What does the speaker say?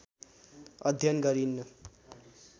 अध्ययन गरिन्